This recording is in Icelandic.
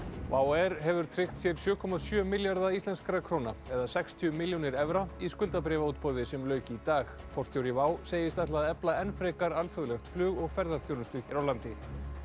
air hefur tryggt sér sjö komma sjö milljarða íslenskra króna eða sextíu milljónir evra í skuldabréfaútboði sem lauk í dag forstjóri segist ætla að efla enn frekar alþjóðlegt flug og ferðaþjónustu hér á landi